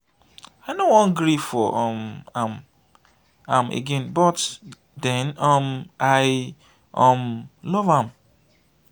i no wan gree for um am am again but den um i um love am.